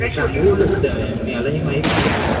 चांगलि system आहे हे माहित नवति मला